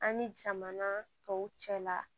An ni jamana tɔw cɛla